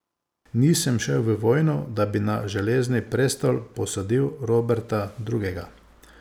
Nisem šel v vojno, da bi na Železni prestol posadil Roberta Drugega.